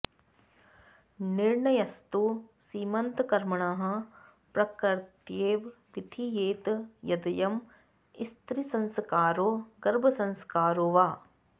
निर्णयस्तु सीमन्तकर्मणः प्रकृत्यैव विधीयेत् यदयं स्त्रीसंस्कारो गर्भसंस्कारो वा